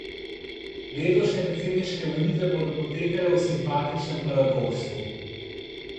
Letošnje predsedniške volitve bodo potekale v simpatičnem paradoksu.